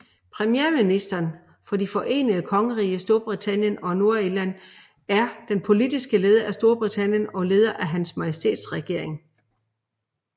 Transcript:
Premierministeren for Det Forenede Kongerige Storbritannien og Nordirland er den politiske leder af Storbritannien og leder af Hans Majestæts regering